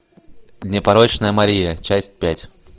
непорочная мария часть пять